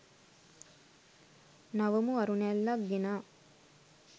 නවමු අරුණැල්ලක් ගෙනා